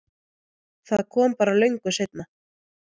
Það kom bara löngu seinna.